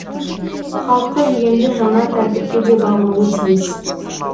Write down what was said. халқы енді жаңа тәртіпке де бағынуы тиіс